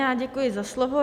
Já děkuji za slovo.